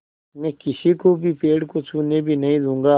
मैं किसी को भी पेड़ को छूने भी नहीं दूँगा